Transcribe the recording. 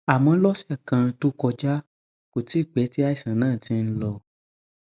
àmọ lọsẹ kan tó kọjá kò tíì pẹ tí àìsàn náà ti ń lọ